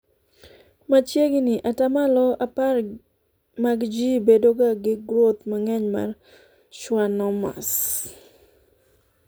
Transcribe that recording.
machiegni atamalo apar mag jii bedoga gi groth mang'eny mar schwannomas